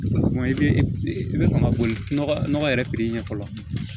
I bɛ i bɛ sɔn ka boli nɔgɔ yɛrɛ ɲɛ fɔlɔ